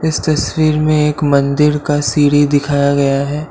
इस तस्वीर में एक मंदिर का सीढ़ी दिखाया गया है।